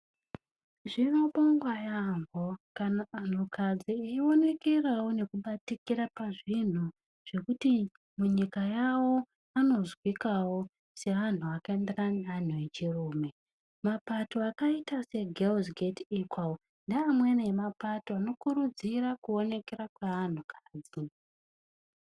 Zvinobongwa yaamho kana anhukadzi vachionekera nekubatikira pazvinhu zvekuti munyika yawo vanozwikawo seanhu akaendarana neantu echirume. Mapato akaita seNdombi Ngadzi-Enzaniswe ndeamweni emapato anokurudzira kuonekera kweantukadzi.